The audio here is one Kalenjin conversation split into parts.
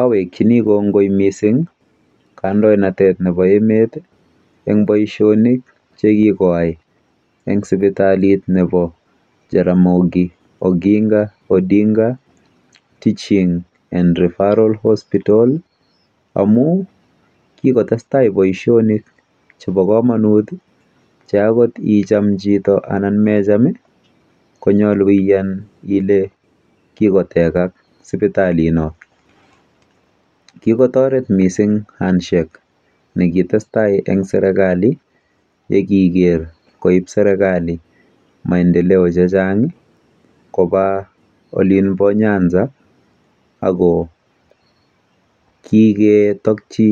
Awekchini kongoi missing' kandoinatet nepo emet eng' poishonik che kokayai eng' sipitali nepo Jaramogi Oginga Odinga Teaching and Referraal Hospital amu kikotes tai poishonik che chang' che pa kamanut che angot ngicham anan ko mecham chito konyalu iyan ile kokotekak sipitalino. Kikotaret missing' handshake ne ki tes tai eng' serkali ye kiker koip serkali maendeleo che chang' ko kako olin pa Nyanxza ko kiketakchi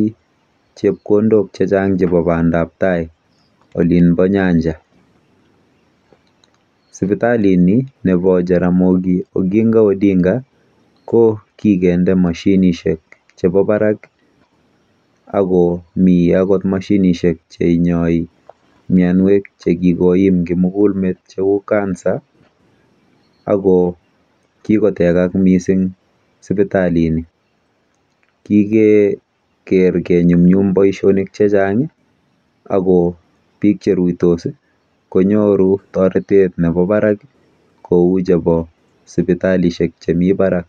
chepkondok che chang' chepo pandaptai olin pa nyanja. ipitalini, nepo Jaramogi Oginga Odinga, ko kikende mashinishek chepo parak ako mi akot mashinishek che inyai mianwek che kikoim kimuguk metcheu cancer ako kikotekak missing' sipitalini. Kikeker kenyumnyum poishonik che chang' ako piik che ruitos ko nyoru taretet nepo parak kou chepo sipitalishek chemi parak.